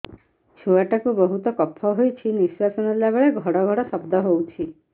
ଛୁଆ ଟା କୁ ବହୁତ କଫ ହୋଇଛି ନିଶ୍ୱାସ ନେଲା ବେଳେ ଘଡ ଘଡ ଶବ୍ଦ ହଉଛି